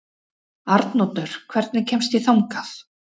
Arnoddur, hvernig kemst ég þangað?